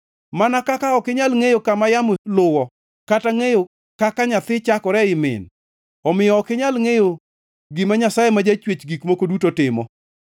Mana kaka ok inyal ngʼeyo kama yamo luwo, kata ngʼeyo kaka nyathi chakore ei min, omiyo ok inyal ngʼeyo gima Nyasaye ma jachwech gik moko duto timo.